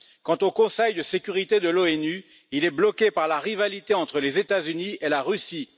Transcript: Quant au Conseil de sécurité de l'ONU, il est bloqué par la rivalité entre les États Unis et la Russie.